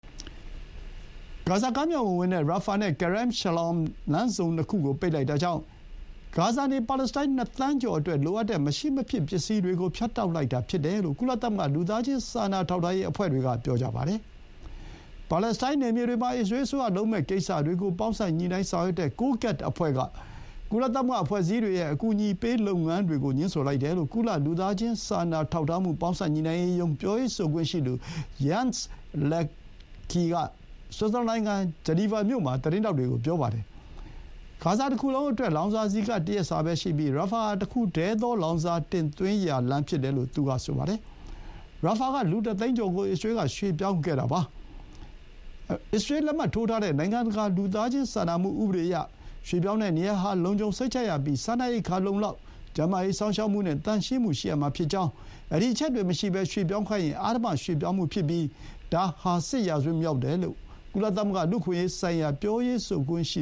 ဂါဇာကမ်းမြောင်ကိုဝင်တဲ့ ရာဖာနဲ့ Karem Shalom လမ်းဆုံနှစ်ခုကို ပိတ်လိုက်တာကြောင့် ဂါဇာနေ ပါလက်စတိုင်းနှစ်သန်းကျော်အတွက်လိုအပ်တဲ့ မရှိမဖြစ်ပစ္စည်းတွေကို ဖြတ်တောက်လိုက်တာဖြစ်တယ်လို့ ကုလသမဂ္ဂ လူသားချင်း စာနာထောက်ထားရေး အဖွဲ့တွေက ပြောကြပါတယ်။ ပါလက်စတိုင်းနယ်မြေတွေမှာ အစ္စရေးအစိုးရလုပ်မယ့်ကိစ္စတွေကို ပေါင်းစပ်ညှိနှိုင်းဆောင်ရွက်တဲ့ COGAT အဖွဲ့က ကုလသမဂ္ဂအဖွဲ့အစည်းတွေရဲ့ အကူအညီပေးလုပ်ငန်းတွေကို ငြင်းဆိုလိုက်တယ်လို့ ကုလ လူသားချင်းစာနာထောက်ထားမှု ပေါင်းစပ်ညှိနှိုင်းရေးရုံး ပြောရေးဆိုခွင့်ရှိသူ Jens Laerke က ဆွစ်ဇာလန်နိုင်ငံ ဂျနီဗာမြို့မှာ သတင်းထောက်တွေကို ပြောပါတယ်။ ဂါဇာတခုလုံးအတွက် လောင်စာဆီက တရက်စာပဲရှိပြီး ရာဖာဟာ တခုတည်းသော လောင်စာတင်သွင်းရာလမ်းဖြစ်တယ်လို့ သူက ဆိုပါတယ်။ ရာဖာက လူ ၁ သိန်းကျော်ကို အစ္စရေးက ရွှေ့ပြောင်းခိုင်းခဲ့တာပါ။ အစ္စရေးလက်မှတ်ထိုးထားတဲ့ နိုင်ငံတကာ လူသားချင်း စာနာမှုဥပဒေအရ ရွှေ့ပြောင်းတဲ့နေရာဟာ လုံခြုံစိတ်ချရပြီး စားနပ်ရိက္ခာ လုံလောက်၊ ကျန်းမာရေးစောင့်ရှောက်မှုနဲ့ သန့်ရှင်းမှုရှိရမှာဖြစ်ကြောင်း ဒီအချက်တွေမရှိဘဲ ရွှေ့ပြောင်းခိုင်းရင် အဓမ္မ ရွှေ့ပြောင်းမှုဖြစ်ပြီး ဒါဟာ စစ်ရာဇဝတ်မှု မြောက်တယ်လို့ ကုလသမဂ္ဂ လူ့အခွင့်အရေးဆိုင်ရာ ပြောရေးဆိုခွင့်ရှိ